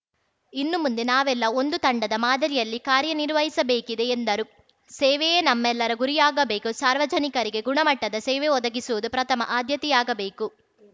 ಇನ್ನು ಮುಂದೆ ನಾವೆಲ್ಲ ಒಂದು ತಂಡದ ಮಾದರಿಯಲ್ಲಿ ಕಾರ್ಯ ನಿರ್ವಹಿಸಬೇಕಿದೆ ಎಂದರು ಸೇವೆಯೇ ನಮ್ಮೆಲ್ಲರ ಗುರಿಯಾಗಬೇಕು ಸಾರ್ವಜನಿಕರಿಗೆ ಗುಣಮಟ್ಟದ ಸೇವೆ ಒದಗಿಸುವುದು ಪ್ರಥಮ ಆದ್ಯತೆಯಾಗಬೇಕು